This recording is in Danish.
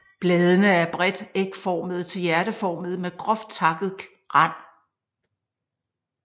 Bladene er bredt ægformede til hjerteformede med groft takket rand